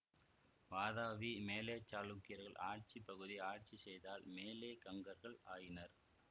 வாதாபி மேலைக்ச்சாளுக்கியர்கள் ஆட்சி பகுதியை ஆட்சி செய்ததால் மேலைக் கங்கர்கள் ஆயினர்